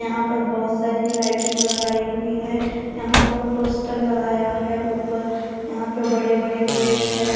यहां पर बहोत सारी लाइटिंग लगाई हुई है। यहां पर पोस्टर लगाया है ऊपर यहां पे बड़े बड़े गेट है।